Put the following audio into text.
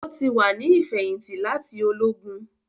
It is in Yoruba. O ti wá ni ifẹhinti láti Ológùn